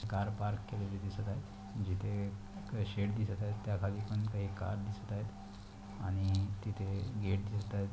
Car park केलेली दिसत आहे जिथे एक शेड दिसत आहे त्या खाली पण काही कार दिसत आहे आणि तिथे गेट दिसत आहेत.